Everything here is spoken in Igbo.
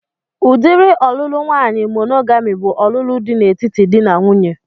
Udiri ọlụlụ nwaanyị monogami bụ ọlụlụ dị n'etiti dị na nwunye